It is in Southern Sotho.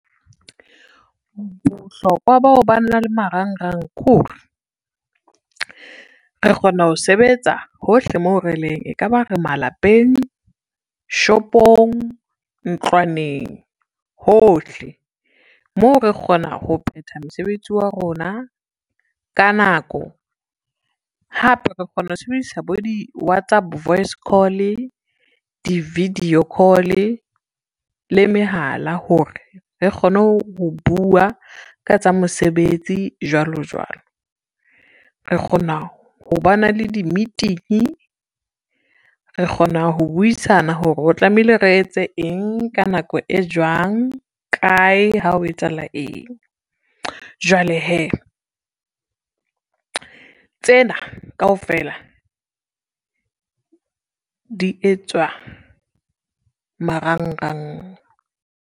Bohlokwa bao ba na le marangrang ke hore, re kgona ho sebetsa hohle mo releng ekaba re malapeng, shopong, ntlwaneng hohle. Moo re kgona ho phetha mosebetsi wa rona ka nako, hape re kgona ho sebedisa bo di-WhatsApp voice call-e, di-video call-e le mehala hore, re kgone ho bua ka tsa mosebetsi jwalo jwalo. Re kgona ho ba na le di-meeting, re kgona ho buisana hore o tlamehile re etse eng, ka nako e jwang, kae, ha o etsahala eng. Jwale hee, tsena kaofela di etswa marangrang.